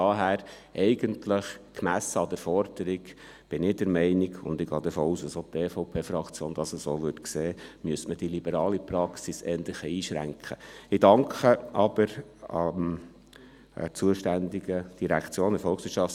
Daher bin ich gemessen an der Forderung eigentlich der Meinung, man müsste die liberale Praxis eher ein wenig einschränken, und ich gehe davon aus, dass auch die EVP-Fraktion das so sieht.